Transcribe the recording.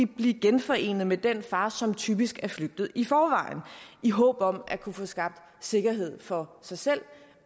blive genforenet med den far som typisk er flygtet i forvejen i håb om at kunne få skabt sikkerhed for sig selv